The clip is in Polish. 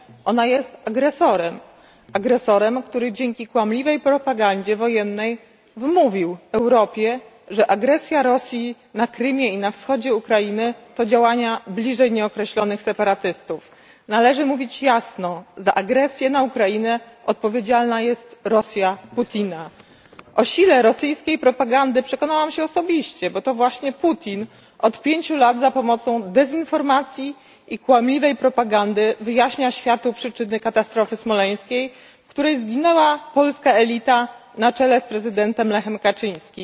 Rosja nie tylko podsyca agresywne działania na terytorium Ukrainy. Ona jest agresorem agresorem, który dzięki kłamliwej propagandzie wojennej wmówił Europie, że agresja Rosji na Krymie i na wschodzie Ukrainy to działania bliżej nieokreślonych separatystów. Należy mówić jasno za agresję na Ukrainę odpowiedzialna jest Rosja Putina. O sile rosyjskiej propagandy przekonałam się osobiście, bo to właśnie Putin od pięciu lat, za pomocą dezinformacji i kłamliwej propagandy, wyjaśnia światu przyczyny katastrofy smoleńskiej, w której zginęła polska elita na czele z prezydentem Lechem Kaczyńskim